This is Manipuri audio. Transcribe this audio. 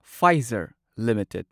Pfizer limited